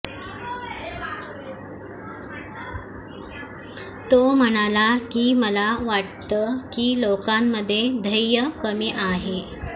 तो म्हणाला की मला वाटतं की लोकांमध्ये धैर्य कमी आहे